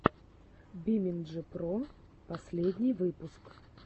бимэнджи про последний выпуск